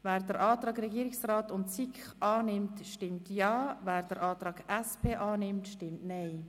Wer dem Antrag Regierungsrat/SiK zustimmt, stimmt Ja, wer den Antrag SP-JUSO-PSA vorzieht, stimmt Nein.